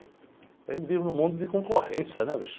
A gente vive num mundo de concorrência, né, bicho?